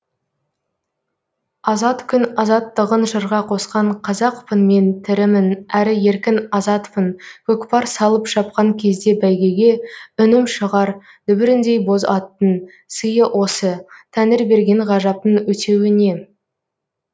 азат күн азаттығын жырға қосқан қазақпын мен тірімін әрі еркін азатпын көкпар салып шапқан кезде бәйгеге үнім шығар дүбіріндей боз аттың сыйы осы тәңір берген ғажаптың өтеуі не